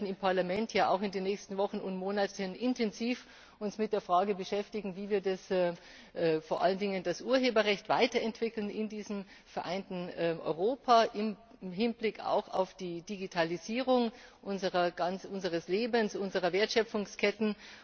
Wir werden uns im Parlament ja auch in den nächsten Wochen und Monaten intensiv mit der Frage beschäftigen, wie wir vor allen Dingen das Urheberrecht weiterentwickeln in diesem vereinten Europa, im Hinblick auch auf die Digitalisierung unseres Lebens, unserer Wertschöpfungsketten.